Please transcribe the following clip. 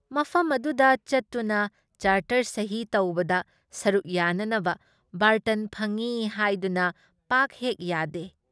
ꯃꯐꯝ ꯑꯗꯨꯗ ꯆꯠꯇꯨꯅ ꯆꯥꯔꯇꯔ ꯁꯍꯤ ꯇꯧꯕꯗ ꯁꯔꯨꯛ ꯌꯥꯅꯅꯕ ꯕꯥꯔꯇꯟ ꯐꯪꯏ ꯍꯥꯏꯗꯨꯅ ꯄꯥꯛ ꯍꯦꯛ ꯌꯥꯗꯦ ꯫